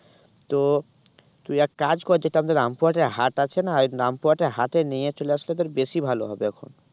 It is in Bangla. তো তুই এক কাজ কর যেটা আমাদের রামপুর হাটের হাট আছে না রামপুর হাটের হাটে নিয়ে চলে আসলে তোর বেশি ভালো হবে এখন